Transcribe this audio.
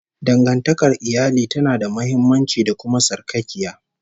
Dangantakar iyali tana da muhimmanci, da kuma sarƙaƙiya